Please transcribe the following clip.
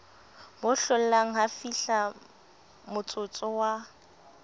bo hlollang ha fihlamotsotso wa